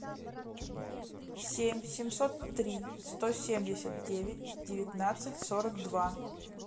семь семьсот три сто семьдесят девять девятнадцать сорок два